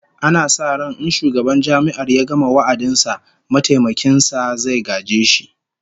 Ana sa ran in shugaban Jami'ar ya gama wa'adin sa, mataimakin sa zai gaje shi